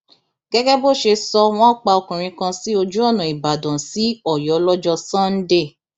gẹgẹ bó ṣe sọ wọn pa ọkùnrin kan sí ojú ọnà ìbàdàn sí ọyọ lọjọ sànńdẹ